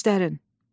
Göstərin.